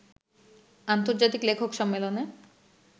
আন্তর্জাতিক লেখক সম্মেলনে